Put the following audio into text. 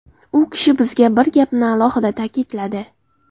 U kishi bizga bir gapni alohida ta’kidladi.